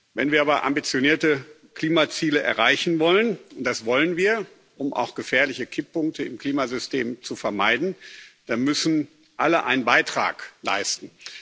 Wenn wir aber ambitionierte Klimaziele erreichen wollen und das wollen wir, auch um gefährliche Kipppunkte im Klimasystem zu vermeiden dann müssen alle einen Beitrag leisten.